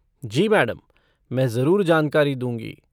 जी madam, मैं जरूर जानकारी दूँगी।